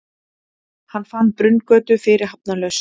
Hann fann Brunngötu fyrirhafnarlaust.